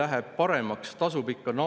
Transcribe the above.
Ühtedel on põlvnemine, teistel ei ole.